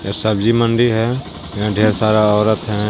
ये सब्जी मंडी है यहां ढेर सारा औरत है।